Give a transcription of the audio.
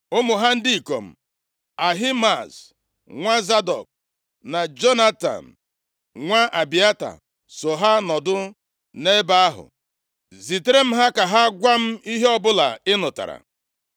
Ụmụ ha ndị ikom, Ahimaaz nwa Zadọk na Jonatan nwa Abịata so ha nọdụ nʼebe ahụ. Zitere m ha ka ha gwa m ihe ọbụla ị nụtara.”